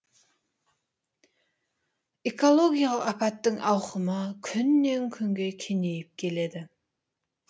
экологиялық апаттың ауқымы күннен күнге кеңейіп келеді